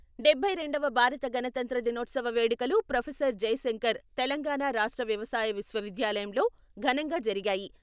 డబ్బై రెండవ భారత గణతంత్ర దినోత్సవ వేడుకలు ప్రొఫెసర్ జయశంకర్ తెలంగాణా రాష్ట్ర వ్యవసాయ విశ్వవిద్యాలయంలో ఘనంగా జరిగాయి.